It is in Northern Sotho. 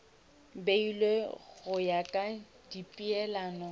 beilwe go ya ka dipeelano